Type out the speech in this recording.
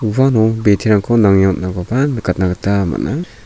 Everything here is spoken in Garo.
uano biterangko nange on·akoba nikatna gita man·a.